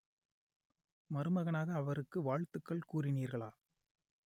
மருமகனாக அவருக்கு வாழ்த்துக்கள் கூறினீர்களா